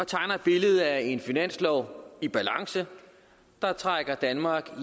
tegner et billede af en finanslov i balance der trækker danmark